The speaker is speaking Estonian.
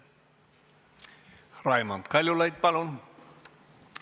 Raimond Kaljulaid, palun!